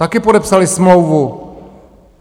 Také podepsali smlouvu.